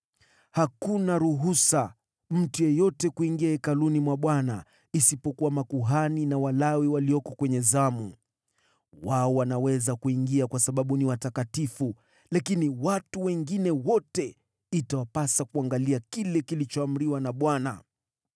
Hakuna mtu yeyote ataingia katika Hekalu la Bwana isipokuwa makuhani na Walawi walioko kwenye zamu. Wao wanaweza kuingia kwa sababu ni watakatifu, lakini watu wengine wote itawapasa kulinda kile walichoamriwa na Bwana .